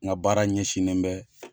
Nga baara ɲɛsinen bɛ